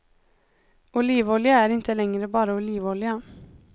Olivolja är inte längre bara olivolja.